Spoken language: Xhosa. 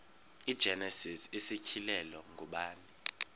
igenesis isityhilelo ngubani